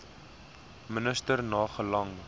minister na gelang